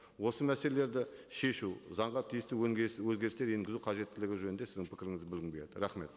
осы мәселелерді шешу заңға тиісті өзгерістер енгізу қажеттілігі жөнінде сіздің пікіріңізді білгім келеді рахмет